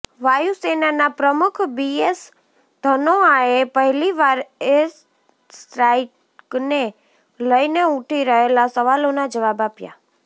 વાયુસેનાના પ્રમુખ બીએસ ધનોઆએ પહેલી વાર એરસ્ટ્રાઈકને લઈને ઉઠી રહેલા સવાલોના જવાબ આપ્યા